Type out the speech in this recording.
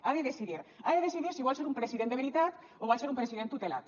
ha de decidir ha de decidir si vol ser un president de veritat o vol ser un president tutelat